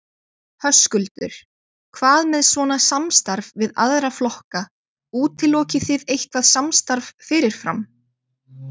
Höskuldur: Hvað með svona samstarf við aðra flokka, útilokið þið eitthvað samstarf fyrirfram?